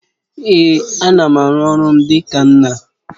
Èé, ana m aru ọrụ m dịka nna